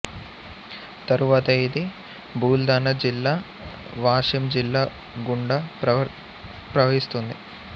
తరువాత ఇది బుల్ధనా జిల్లా వాషిమ్ జిల్లా గుండా ప్రవహిస్తుంది